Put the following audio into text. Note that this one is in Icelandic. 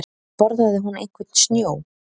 Borðaði hún einhvern snjó?